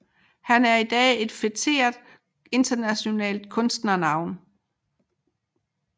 Han er i dag et feteret internationalt kunstnernavn